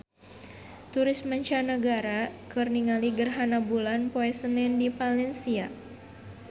Turis mancanagara keur ningali gerhana bulan poe Senen di Valencia